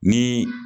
Ni